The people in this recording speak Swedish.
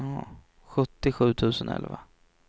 sjuttiosju tusen elva